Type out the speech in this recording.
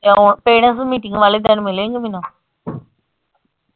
Parents meeting ਵਾਲੇ ਦਿਨ ਮਿਲੇਂਗੀ ਮੈਨੂੰ।